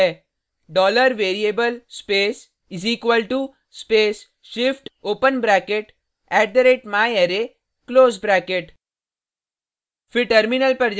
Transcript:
syntax यह है $variable space = space shift open bracket @myarray close bracket